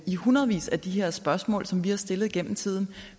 i hundredvis af de her spørgsmål som vi har stillet gennem tiden